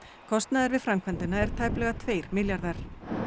kostnaður við framkvæmdina er tæplega tveir milljarðar